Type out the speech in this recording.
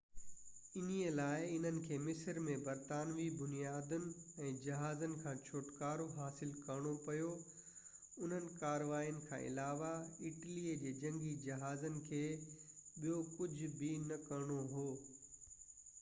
انهي لاءِ انهن کي مصر ۾ برطانوي بنيادن ۽ جهازن کان ڇُٽڪارو حاصل ڪرڻو پيو اُنهن ڪارواين کان علاوه اٽلي جي جنگي جهازن کي ٻيو ڪجهه به نه ڪرڻو هو